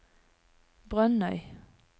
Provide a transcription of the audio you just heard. Brønnøy